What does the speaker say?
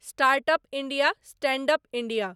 startup India, standup India